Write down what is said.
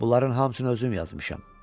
Bunların hamısını özüm yazmışam.